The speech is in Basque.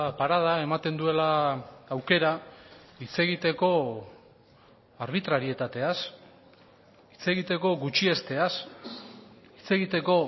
parada ematen duela aukera hitz egiteko arbitrarietateaz hitz egiteko gutxiesteaz hitz egiteko